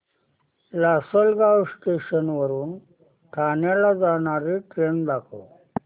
Lasalgaon station वरून ठाण्याला जाणारी ट्रेन दाखव